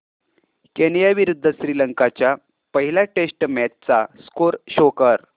Kenya विरुद्ध श्रीलंका च्या पहिल्या टेस्ट मॅच चा स्कोअर शो कर